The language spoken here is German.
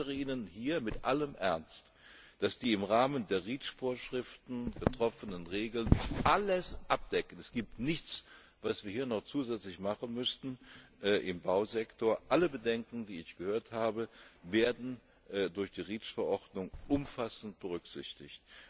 Ich versichere Ihnen hier mit allem Ernst, dass die im Rahmen der REACH Vorschriften getroffenen Regeln alles abdecken es gibt nichts, was wir hier im Bausektor noch zusätzlich machen müssten alle Bedenken, die ich gehört habe, werden durch die REACH Verordnung umfassend berücksichtigt.